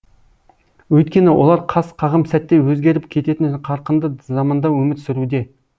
өйткені олар қас қағым сәтте өзгеріп кететін қарқынды заманда өмір сүруде